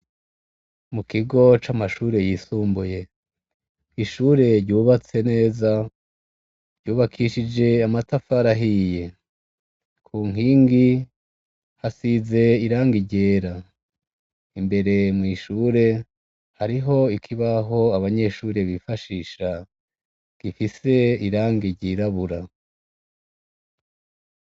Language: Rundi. Mukigo c'amashure yisumbuye, ishure ryubatswe neza, rwubakishije amatafari ahiye, ku nkingi hasize irangi ryera, imbere mw'ishure hariho ikibaho abanyeshure bifashisha gifise irangi ryirabura.